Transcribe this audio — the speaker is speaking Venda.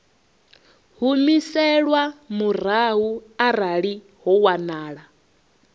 humiselwa murahu arali ho wanala